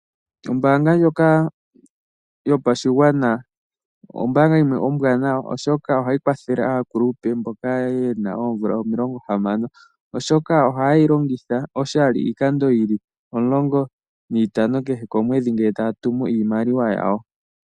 Ombanga ndjoka yopashigwana ,ombaanga yimwe ombwanawa oshoka ohayi kwathele aakulupe mboka yena oomvula omilongo hamano ,oshoka ohaye yi longitha oshali iikando yili omulongo niitano kehe komwedhi ngele taya tumu iimaliwa yawo.